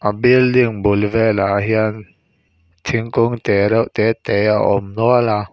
a building bul velah hian thingkung te reuh te te a awm nual a.